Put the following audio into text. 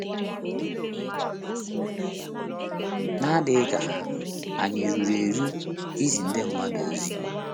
N’adịghị ka ha, ànyị ruru eru izi ndị mmadụ ozioma?